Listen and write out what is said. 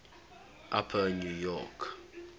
upper new york